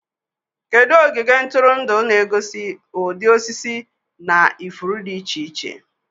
Kedu ogige ntụrụndụ na-egosi ụdị osisi na ifuru dị iche iche?